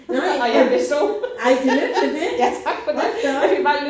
Nej! Ej tillykke med det. Hold da op